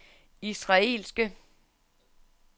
israelske